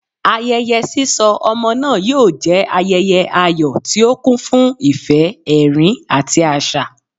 Ayẹyẹ sisọ ọmọ naa yoo jẹ ayẹyẹ ayọ ti o kun fun ifẹ, ẹrin, ati aṣa.